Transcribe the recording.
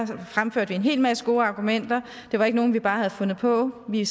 for fremførte en hel masse gode argumenter det var ikke nogen vi bare havde fundet på vi